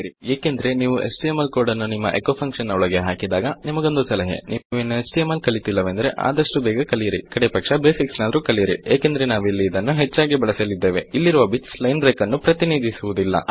ಏಕೆಂದರೆ ನೀವು HTML code ಅನ್ನು ನಿಮ್ಮ ಎಚೊ ಫಂಕ್ಷನ್ ನ ಒಳಗೆ ಹಾಕಿದಾಗ ನಿಮ್ಮಗೊಂದು ಸಲಹೆ ನೀವು ಇನ್ನು ಎಚ್ಟಿಎಂಎಲ್ ಕಲಿತಿಲ್ಲವೆಂದರೆ ಆದಷ್ಟು ಬೇಗ ಕಲಿಯಿರಿ ಕಡೇಪಕ್ಷ ಬೇಸಿಕ್ಸ್ ನಾದರು ಕಲಿಯಿರಿ ಏಕೆಂದರೆ ನಾವಿಲ್ಲಿ ಇದನ್ನು ಹೆಚ್ಚಾಗಿ ಬಳಸಲಿದ್ದೇವೆ ಇಲ್ಲಿರುವ ಬಿಟ್ಸ್ ಲೈನ್ ಬ್ರೇಕ್ ಅನ್ನು ಪ್ರತಿನಿಧಿಸುವುದಿಲ್ಲ